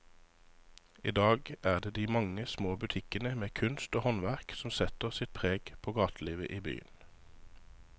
I dag er det de mange små butikkene med kunst og håndverk som setter sitt preg på gatelivet i byen.